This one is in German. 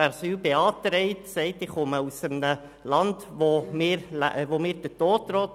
Wer Asyl beantragt, sagt, er komme aus einem Land, in dem ihm der Tod drohe.